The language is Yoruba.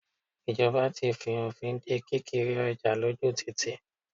Ìjọba ti fi òfin de kí kiri ọjà lójú títì.